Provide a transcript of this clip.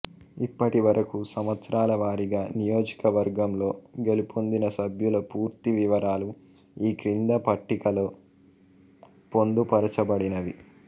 ఇప్పటివరకు సంవత్సరాల వారీగా నియోజకవర్గంలో గెలుపొందిన సభ్యుల పూర్తి వివరాలు ఈ క్రింది పట్టికలో పొందుపరచబడినవి